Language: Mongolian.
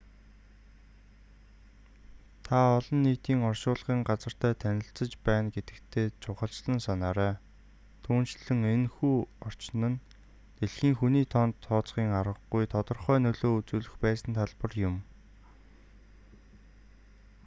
та олон нийтийн оршуулгын газартай танилцаж байгаа гэдэгтээ чухалчлан санаарай түүнчлэн энэ хүү орчин нь дэлхийн хүний тоонд тооцхийн аргагүй тодорхой нөлөө үзүүлэх байсан талбар юм